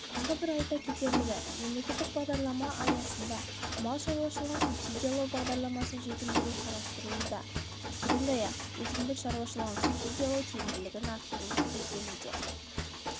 тағы бір айта кетерлігі мемлекеттік бағдарлама аясында мал шаруашылығын субсидиялау бағдарламасын жетілдіру қарастырылуда сондай-ақ өсімдік шаруашылығын субсидиялау тиімділігін арттыру көзделуде